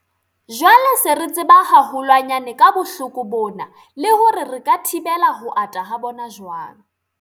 Jwale se re tseba haholwanyane ka bohloko bona le hore re ka thibela ho ata ha bona jwang.